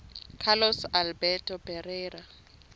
carlos alberto parreira